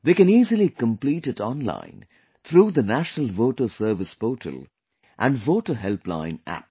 They can easily complete it online through the National Voter Service Portal and Voter Helpline App